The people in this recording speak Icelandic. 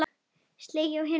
Sleginn er á einum degi.